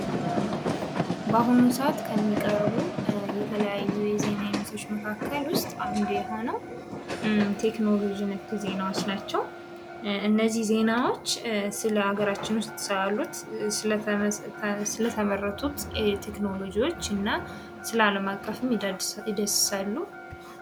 በአሁኑ ሰአት ከሚቀርቡ የተለያዩ የዜና አይነቶች መካከል ውስጥ አንዱ የሆነው ቴክኖሎጂ ነክ ዜናዎች ናቸው። እነዚህ ዜናዎች ስለሀገራችን ውስጥ ስላሉት ስለተመረቱት ቴክኖሎጂወች እና ስለአለም አቀፉም ይዳስሣሉ።